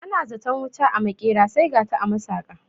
Ana zaton wuta a maƙera sai gata a masaƙa